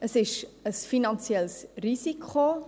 Es ist eventuell sogar ein finanzielles Risiko.